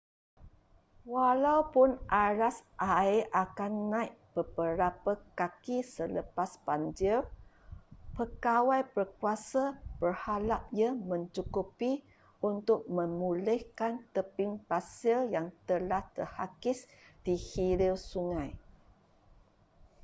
walaupun aras air akan naik beberapa kaki selepas banjir pegawai berkuasa berharap ia mencukupi untuk memulihkan tebing pasir yang telah terhakis di hilir sungai